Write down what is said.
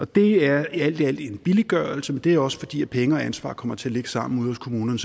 det er alt i alt en billiggørelse men det er også fordi penge og ansvar kommer til at ligge sammen ude hos kommunerne